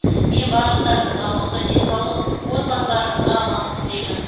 мен барлықтарыңызға мықты денсаулық отбасыларыңызға амандық тілеймін